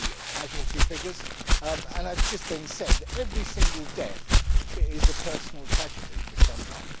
As has just been said, every single death is a personal tragedy for someone.